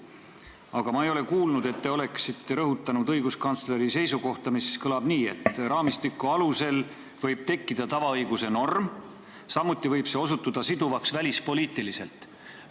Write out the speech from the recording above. Aga ma ei ole kuulnud, et te oleksite rõhutanud õiguskantsleri seisukohta, mis kõlab nii, et raamistiku alusel võib tekkida tavaõiguse norm, mis võib samuti välispoliitiliselt siduvaks osutuda.